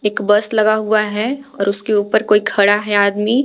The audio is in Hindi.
एक बस लगा हुआ है और उसके ऊपर कोई खड़ा है आदमी--